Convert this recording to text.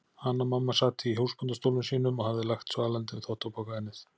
Hanna-Mamma sat í húsbóndastólnum sínum og hafði lagt svalandi þvottapoka á ennið.